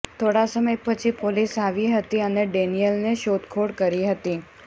થોડા સમય પછી પોલીસ આવી હતી અને ડેનિયલને શોધખોળ કરી હતી